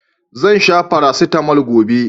Zan sha farasitamol gobe.